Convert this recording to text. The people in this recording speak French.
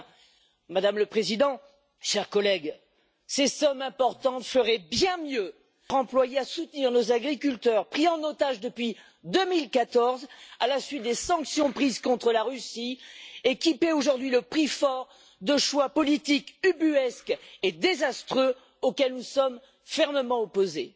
Enfin, Madame le Président, chers collègues, ces sommes importantes seraient bien mieux employées à soutenir nos agriculteurs pris en otage depuis 2014 à la suite des sanctions prises contre la Russie et qui paient aujourd'hui le prix fort de choix politiques ubuesques et désastreux auxquels nous sommes fermement opposés.